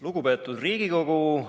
Lugupeetud Riigikogu!